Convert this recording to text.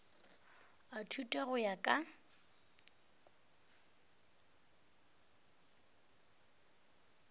a thuto go ya ka